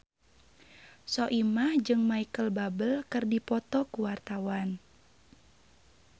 Soimah jeung Micheal Bubble keur dipoto ku wartawan